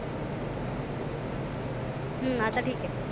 हम्म आता ठिक आहे.